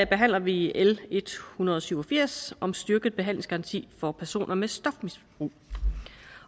behandler vi l en hundrede og syv og firs om en styrket behandlingsgaranti for personer med stofmisbrug